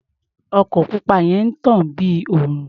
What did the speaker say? Ọkọ̀ pupa yẹn ń tàn bí òrùn.